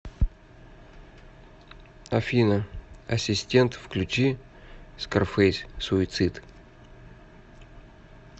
афина ассистент включи скарфейс суицид